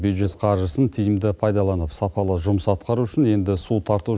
бюджет қаржысын тиімді пайдаланып сапалы жұмыс атқару үшін енді су тарту